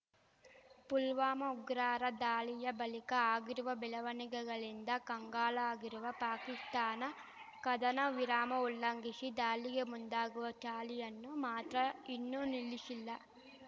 ಪುಲ್ವಾಮಾ ಉಗ್ರರ ದಾಳಿಯ ಬಳಿಕ ಆಗಿರುವ ಬೆಳವಣಿಗೆಗಳಿಂದ ಕಂಗಾಲಾಗಿರುವ ಪಾಕಿಸ್ತಾನ ಕದನ ವಿರಾಮ ಉಲ್ಲಂಘಿಶಿ ದಾಳಿಗೆ ಮುಂದಾಗುವ ಚಾಳಿಯನ್ನು ಮಾತ್ರ ಇನ್ನೂ ನಿಲ್ಲಿಶಿಲ್ಲ